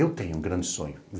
Eu tenho um grande sonho.